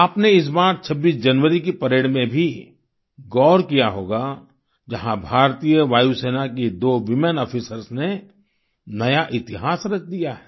आपने इस बार 26 जनवरी की परेड में भी गौर किया होगा जहां भारतीय वायुसेना की दो वूमेन आफिसर्स ने नया इतिहास रच दिया है